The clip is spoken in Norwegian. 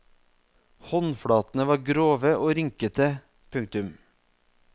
Håndflatene var grove og rynkete. punktum